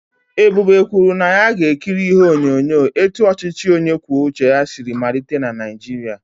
Ebube kwuru na ya ga-ekiri ihe onyonyo etu ọchịchị onye kwuo uche ya siri malite na Naịjirịa.